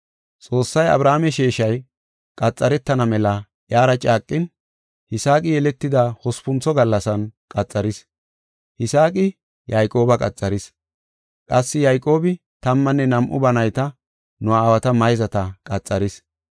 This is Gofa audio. Xoossay Abrahaame sheeshay qaxaretana mela iyara caaqin, Yisaaqi yeletida hospuntho gallasan qaxaris. Yisaaqi Yayqooba qaxaris; qassi Yayqoobi tammanne nam7u ba nayta, nu aawata mayzata qaxaris.